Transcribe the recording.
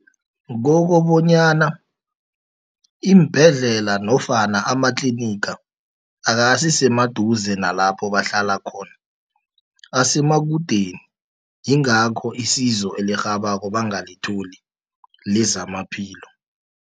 Kokobonyana iimbhedlela, nofana amatliniga akasisemaduze nalapho bahlala khona, asemakudeni yingakho isizo elirhabako bangalitholi lezamaphilo.